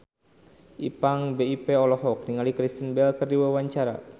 Ipank BIP olohok ningali Kristen Bell keur diwawancara